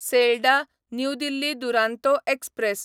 Sealdah New Delhi Duronto express